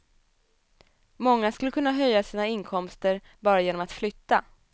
Många skulle kunna höja sina inkomster bara genom att flytta.